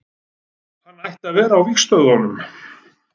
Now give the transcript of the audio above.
Hann ætti að vera á vígstöðvunum.